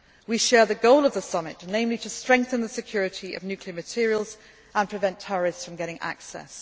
summit. We share the goal of the summit, namely, to strengthen the security of nuclear materials and prevent terrorists from getting